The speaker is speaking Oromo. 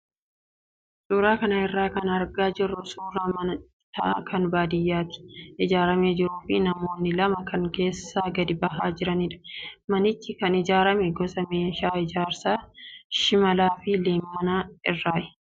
Suuraa kana irraa kan argaa jirru suuraa mana citaa kan baadiyyaatti ijaaramee jiruu fi namoonni lama kan keessaa gadi bahaa jiranidha. Manichi kan ijaarame gosa meeshaa ijaarsaa shimalaa fi leemmana irraayi.